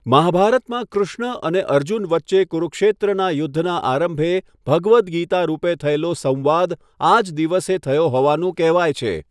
મહાભારતમાં કૃષ્ણ અને અર્જુન વચ્ચે કુરુક્ષેત્રના યુદ્ધના આરંભે ભગવદ ગીતા રૂપે થયેલો સંવાદ, આજ દિવસે થયો હોવાનું કહેવાય છે.